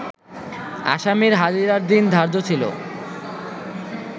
আসামির হাজিরার দিন ধার্য ছিল